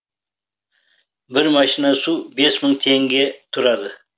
бір машина су бес мың теңге тұрады